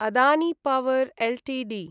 Adani power Ltd